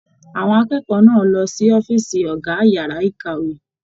Àwọn akẹ́kọ̀ọ́ náà lọ sí ọ̀fiísí ọgá yàrá ìkàwé.